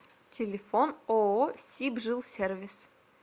телефон ооо сибжилсервис